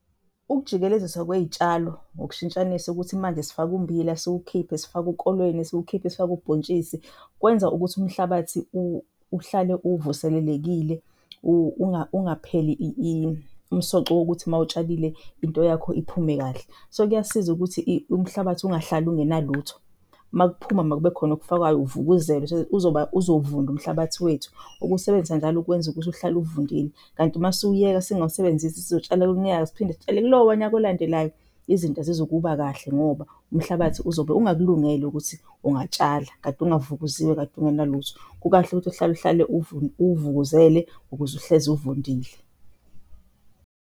Ukujikeleziswa kwey'tshalo ngokushintshanisa ukuthi manje sifake umbila siwukhiphe, sifake ukolweni siwukhiphe, sifake ubhontshisi kwenza ukuthi umhlabathi uhlale uvuselelekile ungapheli umsoco wokuthi mawutshalile into yakho iphume kahle. So, kuyasiza ukuthi umhlabathi ungahlali ungenalutho. Makuphuma makube khona okufakwayo uvukuzelwe so that uzovunda umhlabathi wethu. Ukuwusebenzisa njalo kwenza ukuthi uhlale uvundile. Kanti masiwuyeka singawusebenzisi sizotshala lo nyaka siphinde sitshale kulowa nyaka elandelayo izinto azizukuba kahle ngoba umhlabathi uzobe ungakulungele ukuthi ungatshala kade ungavukuziwe, kade ungenalutho. Kukahle ukuthi uhlale-uhlale uwuvukuzele ukuze uhlezi uvundile.